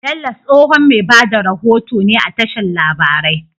Bello tsohon me bada rahoto ne a tashar labarai